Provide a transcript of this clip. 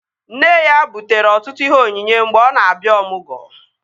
Nne ya butere ọtụtụ ihe onyinye mgbe ọ na-abịa ọmụgwọ